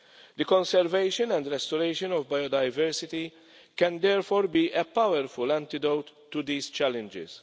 The conservation and restoration of biodiversity can therefore be a powerful antidote to these challenges.